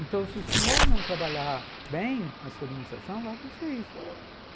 Então, se o senhor não trabalhar bem a sua administração, vai acontecer isso.